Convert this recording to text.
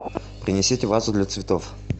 принесите вазу для цветов